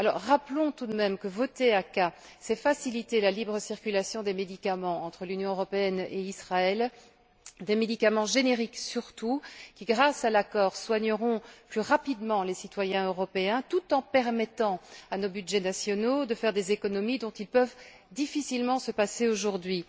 Rappelons tout de même que, voter l'ACAA, c'est faciliter la libre circulation des médicaments entre l'Union européenne et Israël, des médicaments génériques surtout qui, grâce à l'accord, soigneront plus rapidement les citoyens européens, tout en permettant à nos budgets nationaux de faire des économies dont ils peuvent difficilement se passer aujourd'hui.